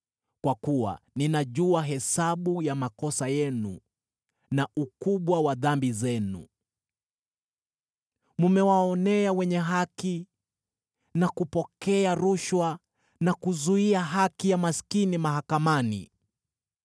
Kwa kuwa ninajua hesabu ya makosa yenu na ukubwa wa dhambi zenu. Mmewaonea wenye haki na kupokea rushwa na kuzuia haki ya maskini mahakamani.